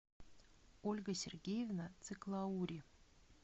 ольга сергеевна циклаури